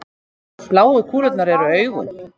bláu kúlurnar eru augun